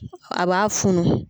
A b'a funu.